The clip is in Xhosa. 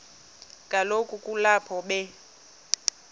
kaloku kulapho be